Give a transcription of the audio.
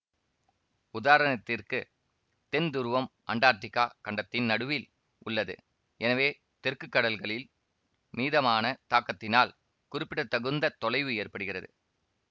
உதாரணத்திற்கு தென் துருவம் அண்டார்டிகா கண்டத்தின் நடுவில் உள்ளது எனவே தெற்கு கடல்களின் மீதமான தாக்கத்தினால் குறிப்பிடத்தகுந்த தொலைவு ஏற்படுகிறது